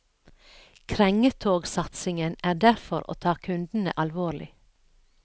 Krengetogsatsingen er derfor å ta kundene alvorlig.